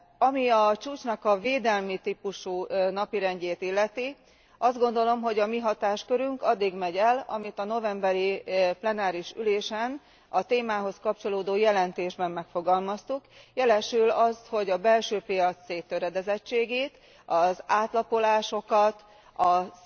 Ami a csúcsnak a védelmi típusú napirendjét illeti, azt gondolom, hogy a mi hatáskörünk addig ér, ameddig a novemberi plenáris ülésen a témához kapcsolódó jelentés megengedi. Abban megfogalmaztuk, hogy a belső piac széttöredezettségét, az átlapolásokat, a